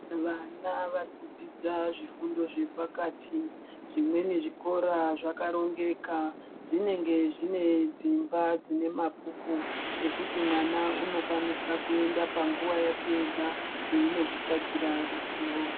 Vana vari kudzidza zvifundo zvepakati zvimweni zvikora zvakarongeka zvinenge zvine dzimba dzine mabhuku ekuti mwana unokwanisa kuenda panguwa yake ega einozvitsvagira ruzivo.